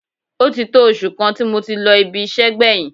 Ó ti tó oṣù kan tí mo ti lọ ibi iṣẹ́ gbẹ̀yìn